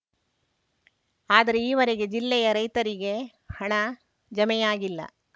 ಆದರೆ ಈವರೆಗೆ ಜಿಲ್ಲೆಯ ರೈತರಿಗೆ ಹಣ ಜಮೆಯಾಗಿಲ್ಲ